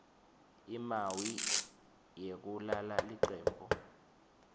imawi yekulala licembu